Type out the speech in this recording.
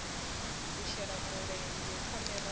u shela mulenzhe ha miraḓo